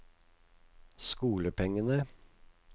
skolepengene